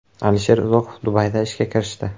Alisher Uzoqov Dubayda ishga kirishdi.